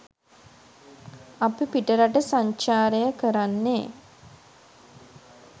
අපි පිටරට සංචාරය කරන්නෙ